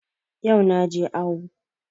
Yau na je awo